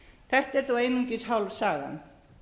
þetta er þó einungis hálf sagan